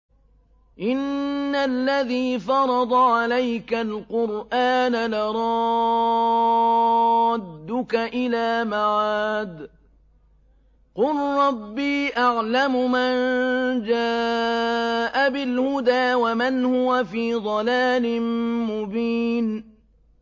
إِنَّ الَّذِي فَرَضَ عَلَيْكَ الْقُرْآنَ لَرَادُّكَ إِلَىٰ مَعَادٍ ۚ قُل رَّبِّي أَعْلَمُ مَن جَاءَ بِالْهُدَىٰ وَمَنْ هُوَ فِي ضَلَالٍ مُّبِينٍ